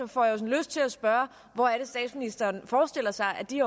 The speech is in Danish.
får jeg jo lyst til at spørge hvor er det statsministeren forestiller sig at de